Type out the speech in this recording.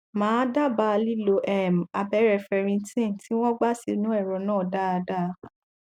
mà á dábàá lílo um abẹrẹ ferritin tí wọn gbà sínú ẹrọ náà dáadáa